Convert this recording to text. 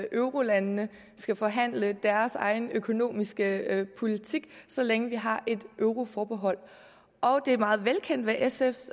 eurolandene skal forhandle deres egen økonomiske politik så længe vi har et euroforbehold det er meget velkendt hvad sfs